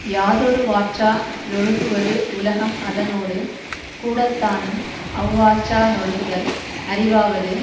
யாதொருவாற்றா லொழுகுவது உலகம் அதனோடு கூடத்தானும் அவ்வாற்றா னொழுகுதல் அறிவாவது